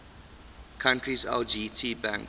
country's lgt bank